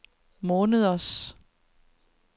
måneders